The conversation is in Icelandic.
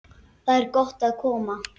Þar er gott að koma.